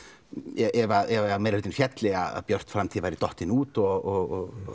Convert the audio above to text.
ef að meirihlutinn félli að Björt framtíð væri dottin út og